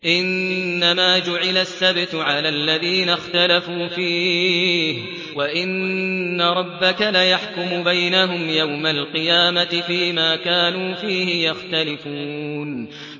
إِنَّمَا جُعِلَ السَّبْتُ عَلَى الَّذِينَ اخْتَلَفُوا فِيهِ ۚ وَإِنَّ رَبَّكَ لَيَحْكُمُ بَيْنَهُمْ يَوْمَ الْقِيَامَةِ فِيمَا كَانُوا فِيهِ يَخْتَلِفُونَ